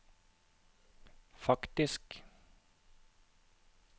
faktisk